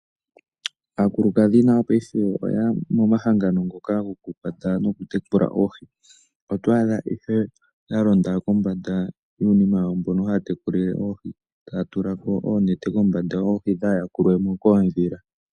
Aakulukadhi nayo paife oya ya momahangano ngoka goku kwata noku tekula oohi. Oto adha ihe yalonda kombanda yuunima mboka haya tekulile oohi. Taya tula ko oonete kombanda oohi dhaa yakulwemo koodhila.